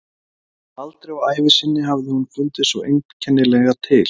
Aldrei á ævi sinni hafði hún fundið svona einkennilega til.